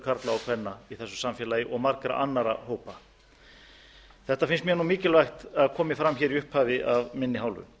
og kvenna í þessu samfélagi og margra annarra hópa þetta finnst mér mikilvægt að komi fram hér í upphafi af minni hálfu